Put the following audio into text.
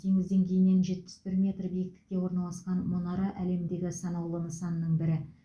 теңіз деңгейінен жетпіс бір метр биіктікте орналасқан мұнара әлемдегі санаулы нысанның бірі